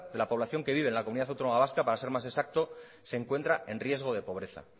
la población que vive en la comunidad autónoma vasca se encuentra en riesgo de pobreza